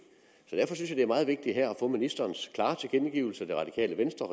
det er meget vigtigt her at få ministerens klare tilkendegivelse af regeringens og